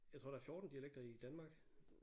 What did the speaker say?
Jeg tror der er 14 dialekter i Danmark